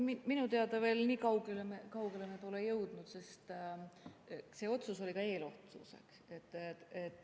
Ei, minu teada veel nii kaugele me pole jõudnud, sest see otsus oli ka eelotsus.